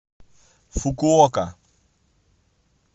фукуока